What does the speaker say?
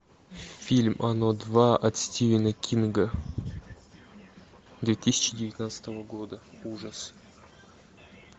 фильм оно два от стивена кинга две тысячи девятнадцатого года ужас